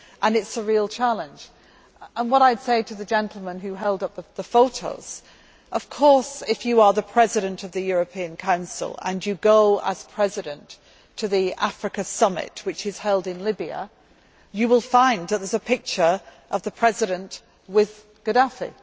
It is a real challenge, and what I would say to the gentleman who held up the photos is, of course, if you are the President of the European Council and you go as President to the African Summit which is held in Libya, you will find that there is a picture of the President with Gaddafi.